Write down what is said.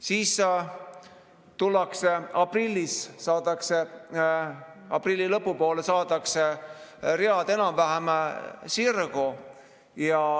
Siis tullakse aprillis, aprilli lõpu poole saadakse read enam-vähem sirgu.